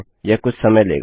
यह कुछ समय लेगा